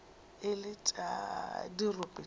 e le tša dirope tša